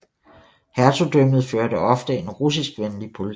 Hertugdømmet førte ofte en russiskvenlig politik